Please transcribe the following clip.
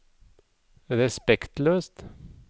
respektløst